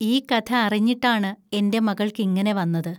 ഈ കഥ അറിഞ്ഞിട്ടാണ് എൻ്റെ മകൾക്കിങ്ങനെ വന്നത്